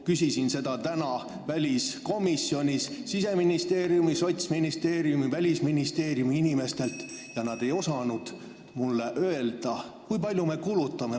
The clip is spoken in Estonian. Küsisin seda täna väliskomisjonis Siseministeeriumi, Sotsiaalministeeriumi ja Välisministeeriumi inimestelt, aga nad ei osanud mulle öelda, kui palju me kulutame.